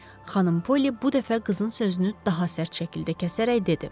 xanım Poli bu dəfə qızın sözünü daha sərt şəkildə kəsərək dedi: